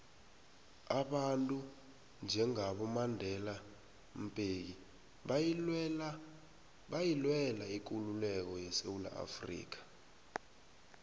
abantu njengabo mandelambeki bayilwela ikululeko yesewula afrika